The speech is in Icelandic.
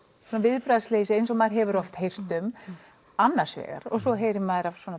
viðbragðsleysi eins og maður hefur oft heyrt um annars vegar og svo heyrir maður af svona